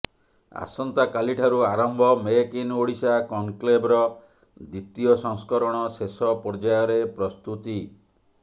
ଆସନ୍ତାକାଲିଠାରୁ ଆରମ୍ଭ make in Odisha କନ୍କ୍ଲେଭର ଦ୍ୱିତୀୟ ସଂସ୍କରଣ ଶେଷ ପର୍ଯ୍ଯାୟରେ ପ୍ରସ୍ତୁତି